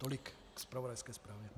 Tolik ke zpravodajské zprávě.